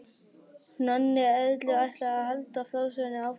Nonni Erlu ætlaði að halda frásögninni áfram.